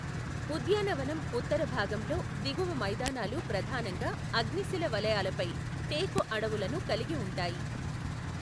ఉద్యానవనం ఉత్తర భాగంలో దిగువ మైదానాలు ప్రధానంగా అగ్నిశిల వలయాలపై టేకు అడవులను కలిగి ఉంటాయి.